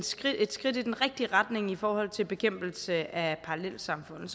skridt skridt i den rigtige retning i forhold til bekæmpelse af parallelsamfund